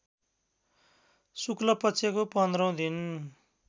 शुक्लपक्षको पन्ध्रौँ दिन